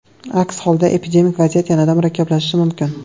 Aks holda epidemik vaziyat yanada murakkablashishi mumkin.